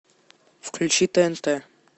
включи тнт